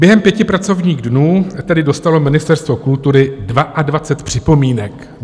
Během pěti pracovních dnů tedy dostalo Ministerstvo kultury 22 připomínek.